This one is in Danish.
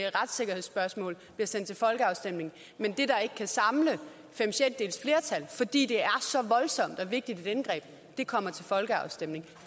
retssikkerhedsspørgsmålet bliver sendt til folkeafstemning men det der ikke kan samle fem sjettedeles flertal fordi det er så voldsomt og vigtigt et indgreb kommer til folkeafstemning